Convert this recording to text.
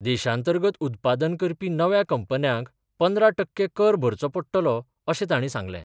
देशांतर्गत उत्पादन करपी नव्या कंपन्यांक पंदरा टक्के कर भरचो पडटलो, अशे ताणी सांगले.